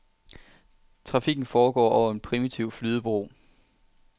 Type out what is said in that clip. Trafikken foregår over en primitiv flydebro.